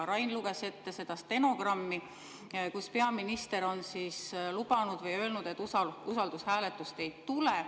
Rain luges ette stenogrammi, kus peaminister lubas või ütles, et usaldushääletust ei tule.